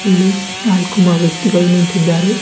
ಇಲ್ಲಿ ನಾಲ್ಕು ಮ ವ್ಯಕ್ತಿಗಳು ನಿಂತಿದ್ದಾರೆ.